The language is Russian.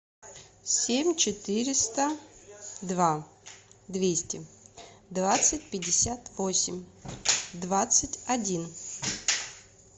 семь четыреста два двести двадцать пятьдесят восемь двадцать один